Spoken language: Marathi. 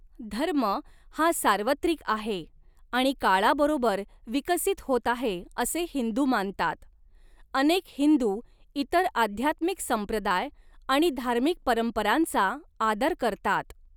धर्म हा सार्वत्रिक आहे आणि काळाबरोबर विकसित होत आहे असे हिंदू मानतात, अनेक हिंदू इतर आध्यात्मिक संप्रदाय आणि धार्मिक परंपरांचा आदर करतात.